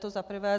To za prvé.